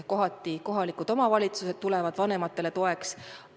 Kohati tulevad kohalikud omavalitsused vanematele toeks.